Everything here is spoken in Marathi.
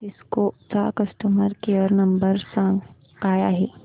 सिस्को चा कस्टमर केअर नंबर काय आहे